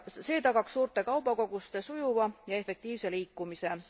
See tagaks suurte kaubakoguste sujuva ja efektiivse liikumise.